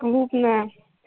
клубная